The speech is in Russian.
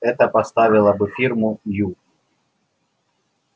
это поставило бы фирму ю